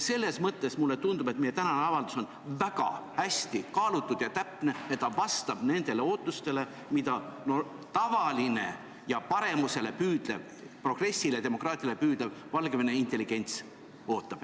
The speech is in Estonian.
Selles mõttes tundub mulle, et meie tänane avaldus on väga hästi kaalutud ja täpne ning vastab nendele ootustele, mida tavaline paremuse, progressi ja demokraatia poole püüdlev Valgevene intelligents ootab.